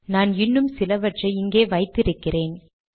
நான் இன்னும் சிலவற்றை இங்கே வைத்து இருக்கிறேன்